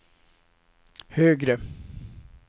högre